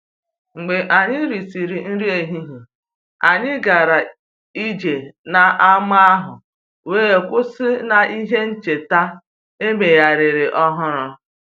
Mgbe anyị risịrị nri ehihie, anyị gara ije n’ámá ahụ wee kwụsị n’ihe ncheta e megharịrị ọhụrụ